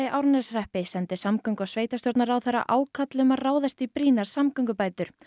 Árneshreppi sendi samgöngu og sveitarstjórnarráðherra ákall um að ráðast í brýnar samgöngubætur